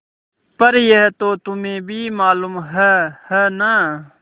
पर यह तो तुम्हें भी मालूम है है न